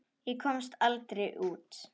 Ég komst aldrei út.